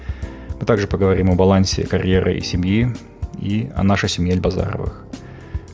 а также поговорим о балансе карьере и семье и о нашей семье ельбазаровых